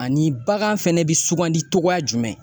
Ani bagan fɛnɛ bɛ sugandi cogoya jumɛn.